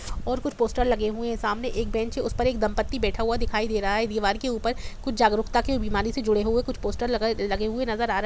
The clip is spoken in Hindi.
और कुछ पोस्टर लगे हुए है सामने एक बेंच है उस पर एक दम्पति बैठा हुआ दिखाई दे रहा है दीवार के ऊपर कुछ जागरूकता के बीमारी से जुड़े हुए कुछ पोस्टर लगे लगे हुए नज़र आ रहे--